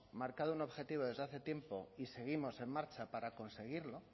marcado un objetivo desde hace tiempo y seguimos en marcha para conseguirlo